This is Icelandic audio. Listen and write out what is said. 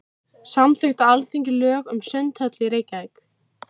Samþykkt á Alþingi lög um sundhöll í Reykjavík.